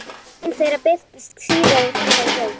Ein þeirra birtist síðar í þessari bók.